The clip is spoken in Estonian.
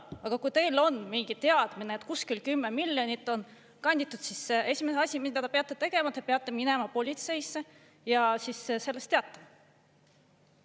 Aga kui teil on mingi teadmine, et kuskilt 10 miljonit on kanditud, siis on esimene asi, mida te peate tegema, see, et te peate minema politseisse ja sellest teatama.